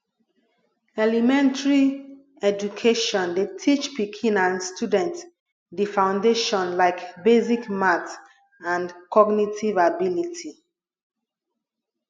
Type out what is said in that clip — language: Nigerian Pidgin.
elementary education dey teach pikin and student di foundation like basic math and cognitive ability